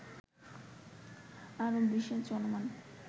আরব বিশ্বের চলমান